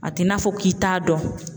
A t'i n'a fɔ k'i t'a dɔn.